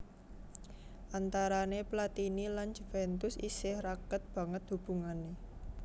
Antarané Platini lan Juvèntus isih raket banget hubungané